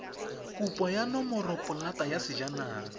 kopo ya nomoropolata ya sejanaga